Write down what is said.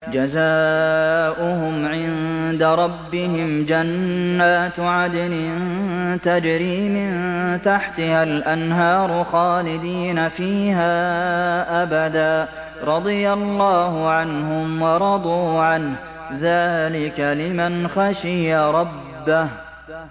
جَزَاؤُهُمْ عِندَ رَبِّهِمْ جَنَّاتُ عَدْنٍ تَجْرِي مِن تَحْتِهَا الْأَنْهَارُ خَالِدِينَ فِيهَا أَبَدًا ۖ رَّضِيَ اللَّهُ عَنْهُمْ وَرَضُوا عَنْهُ ۚ ذَٰلِكَ لِمَنْ خَشِيَ رَبَّهُ